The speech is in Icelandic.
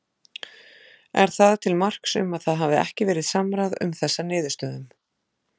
Er það til marks um að það hafi ekki verið samráð um þessa niðurstöðum?